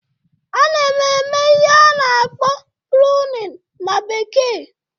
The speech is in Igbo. A na m eme ihe a na-akpọ "pruning"na bekee